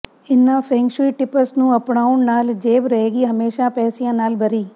ਇਨ੍ਹਾਂ feng shui tips ਨੂੰ ਅਪਣਾਉਣ ਨਾਲ ਜੇਬ ਰਹੇਗੀ ਹਮੇਸ਼ਾ ਪੈਸਿਆ ਨਾਲ ਭਰੀ